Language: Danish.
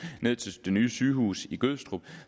ned til det nye sygehus i gødstrup